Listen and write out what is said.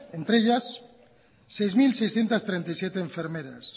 entre ellas seis mil seiscientos treinta y siete enfermeras